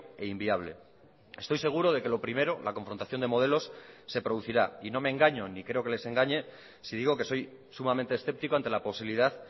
e inviable estoy seguro de que lo primero la confrontación de modelos se producirá y no me engaño ni creo que les engañe si digo que soy sumamente escéptico ante la posibilidad